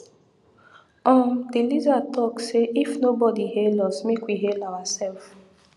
um the lizard talk say if nobodi hail us make we hail awa sef